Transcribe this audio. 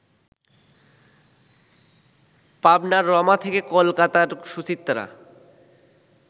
পাবনার রমা থেকে কলকাতার সুচিত্রা